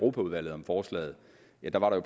netop at